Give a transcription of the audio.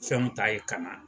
Fɛn min ta yen ka na.